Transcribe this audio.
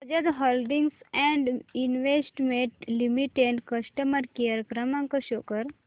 Bajaj holdings and investment limited customer care क्रमांक show कर